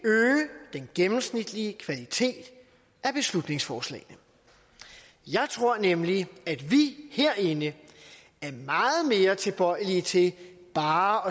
gennemsnitlige kvalitet af beslutningsforslagene jeg tror nemlig at vi herinde er meget mere tilbøjelige til bare